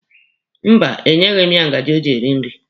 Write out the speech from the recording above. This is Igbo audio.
Mba, e nyeghị m ya ngaji o ji rie nri.